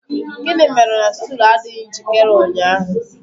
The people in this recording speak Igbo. Gịnị mere na stool adịghị njikere ụnyaahụ?